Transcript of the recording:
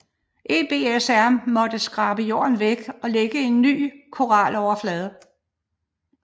EBSR måtte skrabe jorden væk og lægge en ny koraloverflade